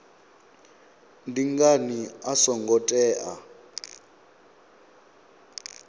ndi ngani a songo tea